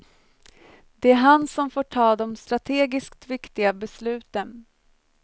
Det är han som får ta de strategiskt viktiga besluten.